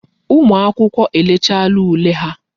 Ụmụ akwụkwọ elechaala ule ha.